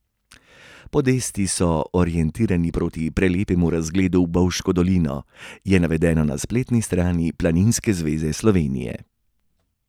Podesti so orientirani proti prelepemu razgledu v bovško dolino, je navedeno na spletni strani Planinske zveze Slovenije.